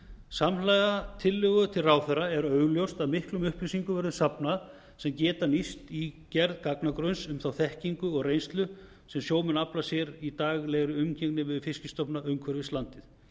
samhliða tillögu til ráðherra er augljóst að miklum upplýsingum verður safnað sem geta nýst í gerð gagnagrunns um þá þekkingu og reynslu sem sjómenn afla sér í daglegri umgengni við fiskstofna umhverfis landið